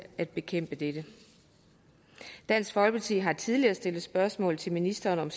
at bekæmpe dette dansk folkeparti har tidligere stillet spørgsmål til ministeren om